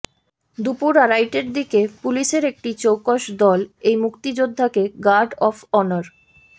দুপুর আড়াইটার দিকে পুলিশের একটি চৌকস দল এই মুক্তিযোদ্ধাকে গার্ড অব অনার